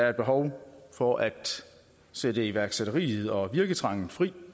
er behov for at sætte iværksætteri og virketrang fri